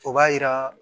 O b'a yira